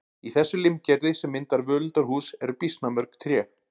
Í þessu limgerði sem myndar völundarhús eru býsna mörg tré.